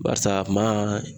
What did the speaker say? Barisa a ma